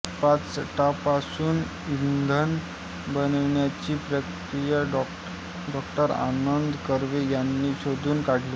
पाचटापासून इंधन बनविण्याची प्रक्रिा डॉ आनंद कर्वे यांनी शोधून काढली